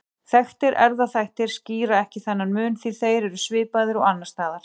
Þekktir erfðaþættir skýra ekki þennan mun því þeir eru svipaðir og annars staðar.